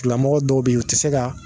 Tigilamɔgɔ dɔw beyi u ti se ka.